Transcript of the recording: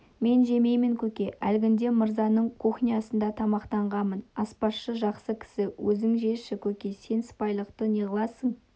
мен жемеймін көке әлгінде мырзаның кухнясында тамақтанғанмын аспазшысы жақсы кісі өзің жеші көке сен сыпайылықты неғыласың